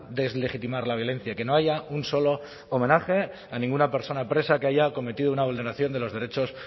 deslegitimar la violencia que no haya un solo homenaje a ninguna persona presa que haya cometido una vulneración de los derechos